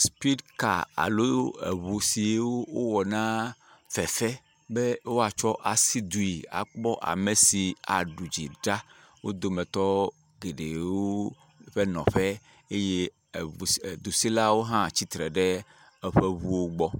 Spidi kaa alo ŋu siwo wowɔ na fefe be woatsɔ asi due be woakpɔ ame si aɖu dzi ɖa dometɔ geɖewo ƒe nɔƒe eye eŋu e dusilawo hã tsitre ɖe eƒe ŋuwo gbɔ.